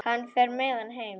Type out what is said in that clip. Hann fer með hana heim.